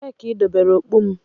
Ebee ka idobere okpu m?